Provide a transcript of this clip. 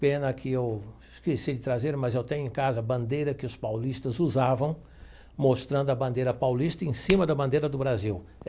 Pena que eu esqueci de trazer, mas eu tenho em casa a bandeira que os paulistas usavam, mostrando a bandeira paulista em cima da bandeira do Brasil.